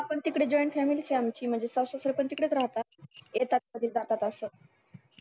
हा पण तिकडे join family आहे आमची म्हणजे सासू सासरे पण तिकडेच राहतात येतात आणि जातात असं